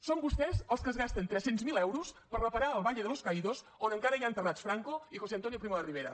són vostès els que es gasten tres cents miler euros per reparar el valle de los caídos on encara hi ha enterrats franco i josé antonio primo de rivera